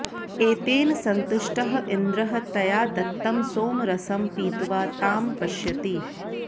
एतेन सन्तुष्टः इन्द्रः तया दत्तं सोमरसं पीत्वा तां पश्यति